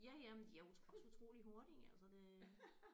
Ja ja men de er jo også utroligt hurtige altså det